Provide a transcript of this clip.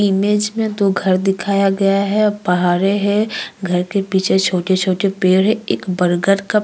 Image में दो घर दिखाया गया है । और पहारे हैं। घर के पीछे छोटे-छोटे पेड़ हैं। एक बर्गर का --